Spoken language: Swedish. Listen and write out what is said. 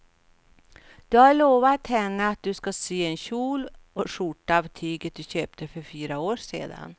Du har lovat henne att du ska sy en kjol och skjorta av tyget du köpte för fyra år sedan.